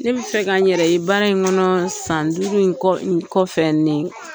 Ne bɛ fɛ ka n yɛrɛ ye baara in kɔnɔ san duuru in kɔfɛ